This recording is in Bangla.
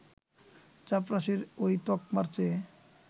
চাপরাশির ওই তকমার চেয়ে